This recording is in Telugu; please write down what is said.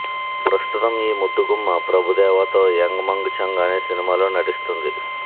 ప్రస్తుతం ఈ ముద్దుగుమ్మ ప్రభుదేవా తో యంగ్ మంగ్ ఛంగ్ అనే సినిమాలో నటిస్తుంది